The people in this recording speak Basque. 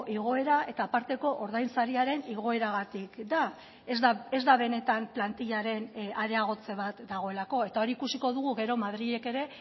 igoera eta aparteko ordain sariaren igoeragatik da ez da benetan plantillaren areagotze bat dagoelako eta hori ikusiko dugu gero madrilek ere